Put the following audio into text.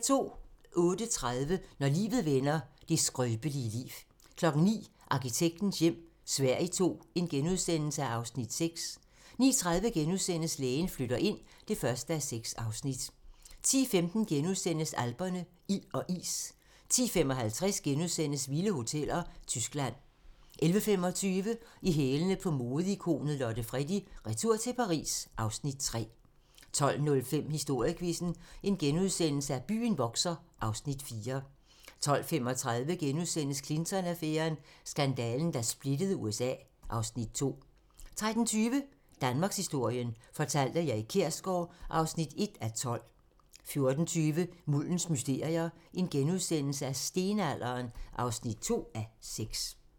08:30: Når livet vender - det skrøbelige liv 09:00: Arkitektens hjem - Sverige II (Afs. 6)* 09:30: Lægen flytter ind (1:6)* 10:15: Alperne - ild og is * 10:55: Vilde hoteller - Tyskland * 11:25: I hælene på modeikonet Lotte Freddie: Retur til Paris (Afs. 3) 12:05: Historiequizzen: Byen vokser (Afs. 4)* 12:35: Clinton-affæren: Skandalen, der splittede USA (Afs. 2)* 13:20: Danmarkshistorien fortalt af Erik Kjersgaard (1:12) 14:20: Muldens mysterier - Stenalderen (2:6)*